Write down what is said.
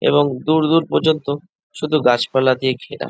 এবং দূর দূর পর্যন্ত শুধু গাছপালা দিয়ে ঘেরা।